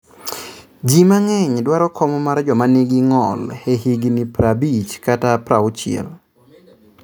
Jii mang'eny dwaro kom mar joma nigi ng'ol e higni prabich kata prauchie